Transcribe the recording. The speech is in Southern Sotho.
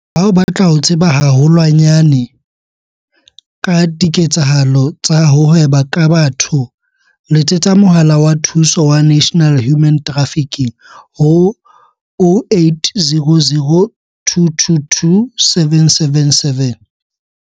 Ha o batla ho tseba haho lwanyane ka diketsahalo tsa ho hweba ka batho letsetsa Mohala wa Thuso wa National Human Trafficking ho- 0800 222 777.